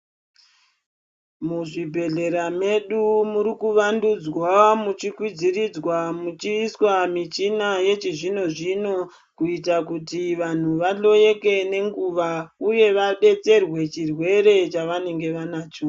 Muzvibhehlera medu murikuvandudzwa muchikwidziridzwa muchiiswa michina yechizvinozvino kuita kuti vanhu vahloyeke nenguva uye vabetserwe chirwere chavanenge vanacho.